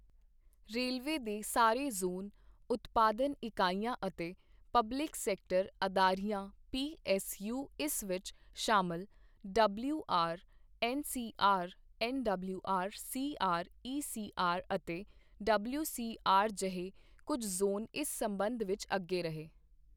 railway ਦੇ ਸਾਰੇ zone, ਉਤਪਾਦਨ ਇਕਾਈਆਂ ਅਤੇ ਪਬਲਿਕ ਸੈਕਟਰ ਅਦਾਰਿਆਂ ਪੀਐੱਸਯੂ ਇਸ ਵਿੱਚ ਸ਼ਾਮਲ, WR, NCR, NWR, CR, ECR ਅਤੇ ਡਬਲਿਊਸੀਆਰ ਜਿਹੇ ਕੁਝ ਜ਼ੋਨ ਇਸ ਸਬੰਧ ਵਿੱਚ ਅੱਗੇ ਰਹੇ